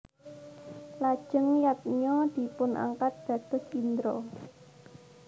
Lajeng Yadnya dipunangkat dados Indra